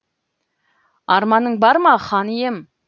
арманың бар ма хан ием